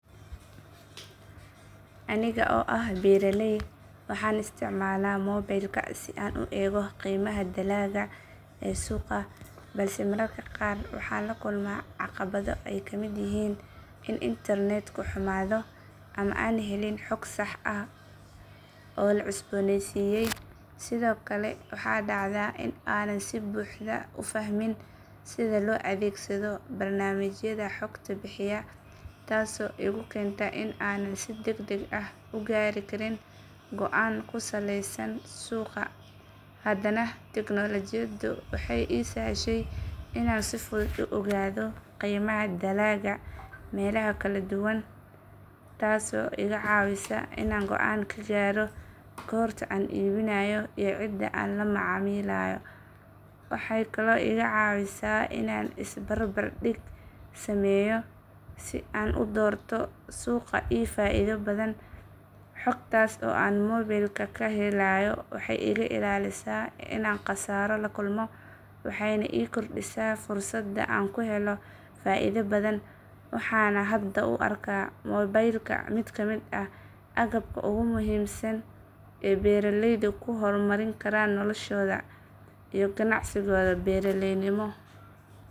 Aniga oo ah beeraley waxaan isticmaalaa mobaylka si aan u eego qiimaha dalagga ee suuqa balse mararka qaar waxaan la kulmaa caqabado ay ka mid yihiin in internetku xumaado ama aan helin xog sax ah oo la cusbooneysiiyay sidoo kale waxaa dhacda in aanan si buuxda u fahmin sida loo adeegsado barnaamijyada xogta bixiya taasoo igu keenta in aanan si degdeg ah u gaari karin go'aan ku saleysan suuqa haddana tignoolajiyadu waxay ii sahashay inaan si fudud u ogaado qiimaha dalagga meelaha kala duwan taasoo iga caawisa inaan go'aan ka gaaro goorta aan iibinayo iyo cidda aan la macaamilayo waxay kaloo iga caawisaa inaan isbarbardhig sameeyo si aan u doorto suuq ii faa’iido badan xogtaas oo aan mobaylka kaga helayo waxay iga ilaalisaa inaan khasaaro la kulmo waxayna ii kordhisaa fursadda aan ku helo faa’iido badan waxaana hadda u arkaa mobaylka mid ka mid ah agabka ugu muhiimsan ee beeraleydu ku horumari karaan noloshooda iyo ganacsigooda beeraleynimo